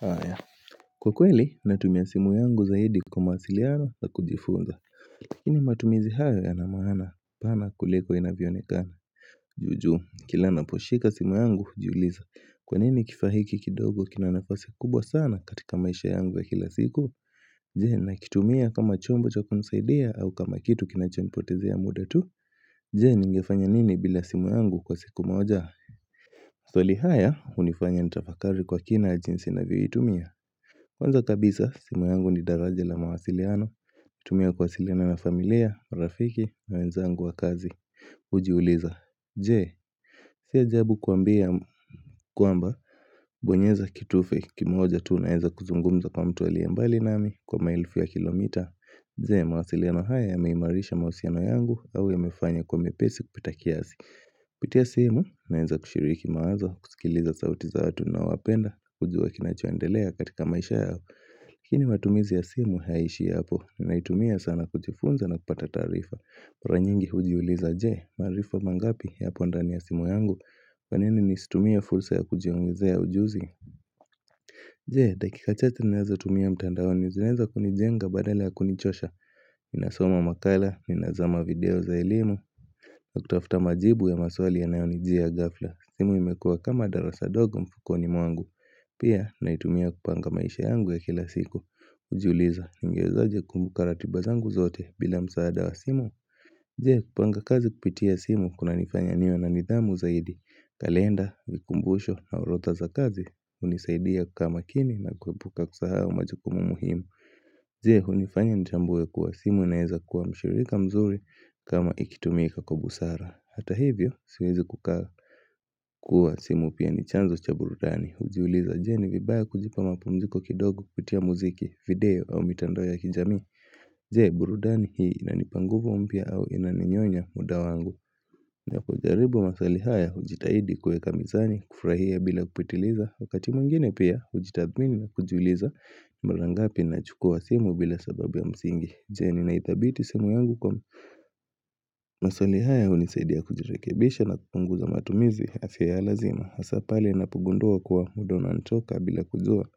Haya kwa kweli natumia simu yangu zaidi kwa masiliano za kujifunza lakini matumizi haya yana maana pana kuliko inavyonekana jujuu kila naposhika simu yangu juuliza kwa nini kifahiki kidogo kinanafasi kubwa sana katika maisha yangu za kila siku? Je, nakitumia kama chombo cha kunizaidia au kama kitu kinachonipotezea muda tu je, ningefanya nini bila simu yangu kwa siku moja? Maswali haya unifanya nitafakari kwa kina jinsi navyo iwitumia Kwanza kabisa, simu yangu ni daraja la mawasiliano. Utumia kuasiliano ya familia, rafiki na wenzangu wa kazi, ujiuliza Je, si ajabu kuambia kwamba bonyeza kitufe kimoja tuu naenza kuzungumza kwa mtu aliye mbali nami kwa maelfu ya kilomita Je, mawasiliano haya yameimarisha mawasiliano yangu au yamefanya kwa mepesi kupita kiasi Pitea simu, naenza kushiriki maazo, kusikiliza sauti zaatu na wapenda, kujua kinachuandelea katika maisha yao Lakini matumizi ya simu hayaishi ya hapo, ninaitumia sana kujifunza na kupata tarifa mara nyingi hujiuliza je, maarifa mangapi yapo ndani ya simu yangu, kwa nini nisitumia fursa ya kujiongezea ujuzi? Je, dakika chache ninaz tumia mtandao ni zinaeza kunijenga badale ya kunichosha? Ninasoma makala, minazoma video za elimu Nakutafuta majibu ya maswali yanayonijia ya gafla, simu imekua kama darasa dogo mfuko ni mwangu Pia, naitumia kupanga maisha yangu ya kila siku Ujiuliza ningewezaje kumbuka ratiba zangu zote bila msaada wa simu? Jee kupanga kazi kupitia simu kunanifanya niwe na nidhamu zaidi. Kalenda, vikumbusho na urotha za kazi unizaidia kukaa makini na kukubuka kusahao majokumu muhimu Jee, unifanya nitambwe kuwa simu naeza kuwa mshirika mzuri kama ikitumika kwa busara hata hivyo siwezi kukaa kuwa simu pia ni chanzo cha burudani. Ujiuliza je, vibaya kujipa mapumziko kidogo kutia muziki, video au mitando ya kijami Jee burudani hii inanipa nguvu mpya au inaninyonya muda wangu? Na kujaribu masali haya ujitahidi kueka mizani kufurahia bila kupitiliza. Wakati mwingine pia ujitamini na kujuliza mara ngapi ninachukua simu bila sababu msingi Je ni naitabiti simu yangu kwa maswali haya unizaidia kujirekebisha na kutunguza matumizi yasio ya lazima hasa pale napugundua kuwa muda unanichoka bila kujua